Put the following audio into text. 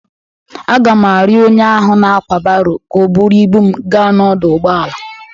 Agam arịọ onye ahụ na-ákwà baro ka o buru ibu m gaa n'ọdọ ụgbọala.